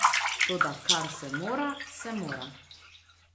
Toda kar se mora, se mora.